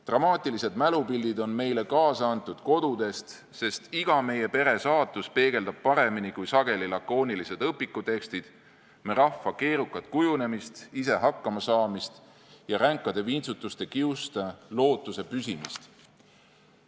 Dramaatilised mälupildid on meile kaasa antud kodudest, sest iga meie pere saatus peegeldab paremini kui sageli lakoonilised õpikutekstid me rahva keerukat kujunemist, ise hakkamasaamist ja ränkade vintsutuste kiuste lootuse püsimist.